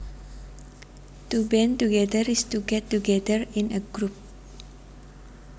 To band together is to get together in a group